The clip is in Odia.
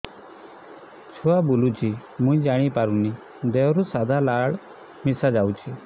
ଛୁଆ ବୁଲୁଚି ମୁଇ ଜାଣିପାରୁନି ଦେହରୁ ସାଧା ଲାଳ ମିଶା ଯାଉଚି